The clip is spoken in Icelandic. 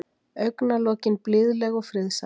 Augnalokin blíðleg og friðsæl.